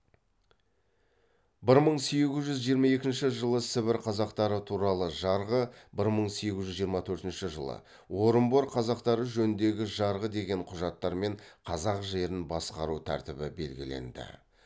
бір мың сегіз жүз жиырма екінші жылы сібір қазақтары туралы жарғы бір мың сегіз жүз жиырма төртінші жылы орынбор қазақтары жөніндегі жарғы деген құжаттармен қазақ жерін басқару тәртібі белгіленді